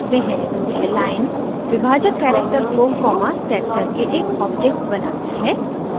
यह लाइन विभाजक कैरेक्टर को कॉमा सेट करके एक object बनाती है